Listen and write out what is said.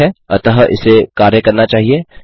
ठीक है अतः इसे कार्य करना चाहिए